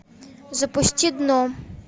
запусти дно